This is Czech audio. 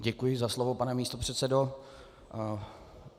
Děkuji za slovo, pane místopředsedo.